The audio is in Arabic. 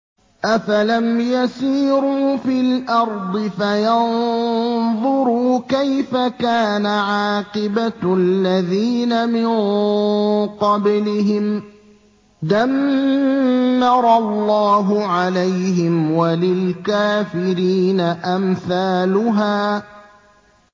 ۞ أَفَلَمْ يَسِيرُوا فِي الْأَرْضِ فَيَنظُرُوا كَيْفَ كَانَ عَاقِبَةُ الَّذِينَ مِن قَبْلِهِمْ ۚ دَمَّرَ اللَّهُ عَلَيْهِمْ ۖ وَلِلْكَافِرِينَ أَمْثَالُهَا